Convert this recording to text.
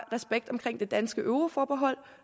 respekt om det danske euroforbehold